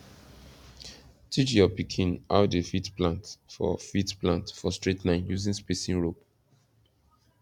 teach your pikin how dey fit plant for fit plant for straight line using spacing rope